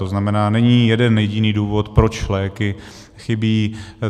To znamená, není jeden jediný důvod, proč léky chybí.